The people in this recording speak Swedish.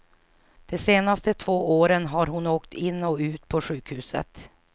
De senaste två åren har hon åkt in och ut på sjukhuset.